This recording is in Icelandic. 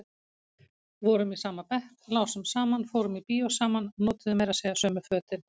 Vorum í sama bekk, lásum saman, fórum í bíó saman, notuðum meira segja sömu fötin.